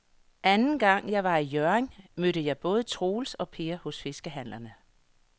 Anden gang jeg var i Hjørring, mødte jeg både Troels og Per hos fiskehandlerne.